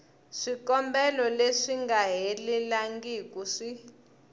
swikombelo leswi nga helelangiku swi